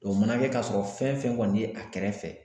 o mana kɛ k'a sɔrɔ fɛn fɛn kɔni ye a kɛrɛfɛ